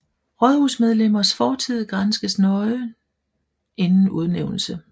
Rådsmedlemmers fortid granskes normalt nøje inden udnævnelse